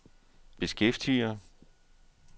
beskæftiger